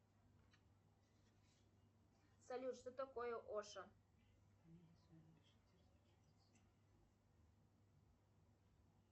салют что такое ошо